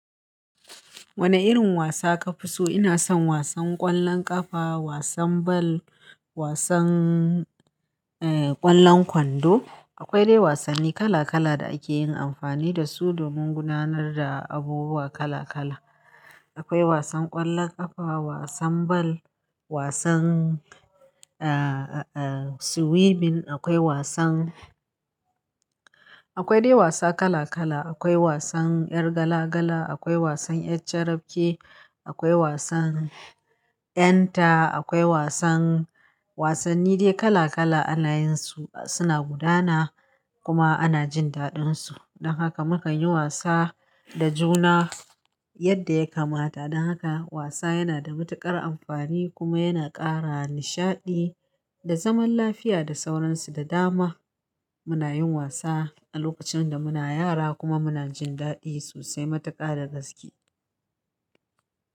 Wane irin wasa ka fi so? Ina son wasan ƙwallon ƙafa, wasan bal, wasan, eh, ƙwallon kwando. Akwai dai wasanni kala kala da ake yin amfani da su domin gudanar da abubuwa kala kala. Akwai wasan ƙwallon ƙafa, wasan bal, wasan, ah, ah, swimming, akwai wasan, akwai dai wasa kala kala. Akwai wasan yar gala gala, akwai wasan yar carafke, akwai wasan ƴanta, akwai wasan, wasanni dai kala kala ana yinsu suna gudana kuma ana jin daɗinsu. Don haka muka yi wasa da juna yadda ya kamata. Don haka wasa yana da matuƙar amfani kuma yana ƙara nishaɗi da zaman lafiya da sauransu da dama. Muna yin wasa a lokacin da muna yara kuma muna jin daɗi sosai matuƙa da gaske.